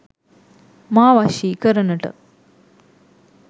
මා වශී කරනට